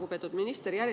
Lugupeetud minister!